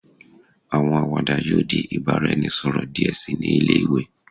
Awọn awada yoo di ibaraẹnisọrọ diẹ sii ni ile-iwe